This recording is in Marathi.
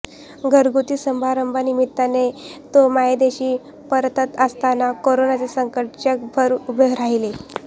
घरगुती समारंभा निमित्ताने तो मायदेशी परतत असताना कोरोनाचे संकट जगभर उभे राहिले